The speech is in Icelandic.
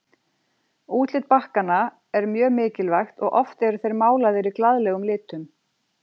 Útlit bakkanna er mjög mikilvægt og oft eru þeir málaðir í glaðlegum litum.